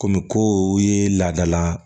Komi ko o ye laadala